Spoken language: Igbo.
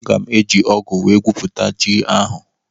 Aga m ọ́gụ̀ wee gwupute ji ahụ.